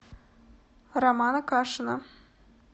романа кашина